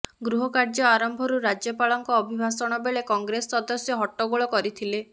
ଗୃହ କାର୍ଯ୍ୟ ଆରମ୍ଭରୁ ରାଜ୍ୟପାଳଙ୍କ ଅଭିଭାଷଣ ବେଳେ କଂଗ୍ରେସ ସଦସ୍ୟ ହଟ୍ଟଗୋଳ କରିଥିଲେ